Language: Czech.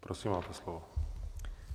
Prosím, máte slovo.